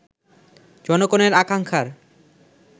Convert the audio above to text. জনগণের আকাঙ্ক্ষার